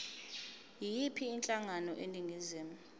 yiyiphi inhlangano eningizimu